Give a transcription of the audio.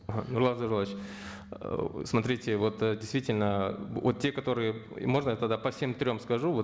нурлан зайроллаевич ыыы смотрите вот э действительно вот те которые можно я тогда по всем трем скажу вот